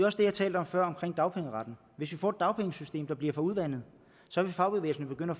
også det jeg talte om før omkring dagpengeretten hvis vi får et dagpengesystem der bliver for udvandet så vil fagbevægelsen begynde